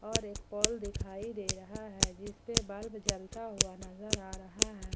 और एक पोल दिखाई दे रहा है जिसपे बल्ब जलता हुआ नजर आ रहा है।